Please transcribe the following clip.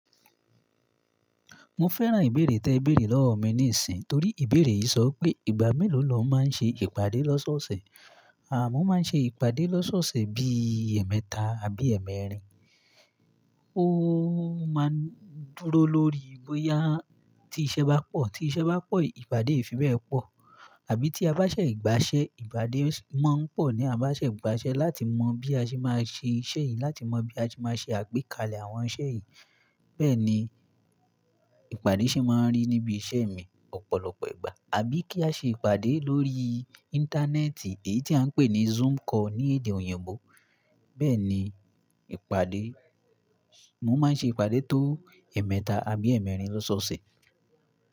Mo fẹ́ran ìbéèrè tí ẹ béèrè lọ́wọ mi níìsín, torí ìbéèrè yìí sọ pé ìgbà mélòó ni ọ máa ń ṣe ìpàdé lọ́sọ̀ọ̀sẹ̀. À mọ́ máa ń ṣe ìpàdé lọ́sọ̀ọ̀sẹ̀ bí i ẹ̀ẹ̀mẹta àbí ẹ̀ẹ̀mẹrin. Ó máa ń dúró lórí bóyá tí iṣẹ́ bá pọ̀. Tí iṣẹ́ bá pọ̀, ìpàdé ìfibẹ̀ pọ̀. Àbí tí a bá ṣẹ̀ ìgbà ṣe ìpàdé sì máa ń pọ̀ ní a bá ṣẹ̀ ìgbà ṣẹ láti mọ bí a ṣe máa ṣe iṣẹ́ yìí, láti mọ bí a ṣe máa ṣe àgbékalẹ̀ àwọn iṣẹ́ yìí. Bẹ́ẹ̀ ni ìpàdé sì máa ń rí níbi iṣẹ́ mi ọ̀pọ̀lọpọ̀ ìgbà. Àbí kí á ṣe ìpàdé lórí Íńtánẹ́ẹ̀tì, èyí tí à ń pè ní Zoom call ní èdè òyìnbó. Bẹ́ẹ̀ ni ìpàdé, mo máa ń ṣe ìpàdé tó ẹ̀ẹ̀mẹta àbí ẹ̀ẹ̀mẹrin lọ́sọ̀ọ̀sẹ̀.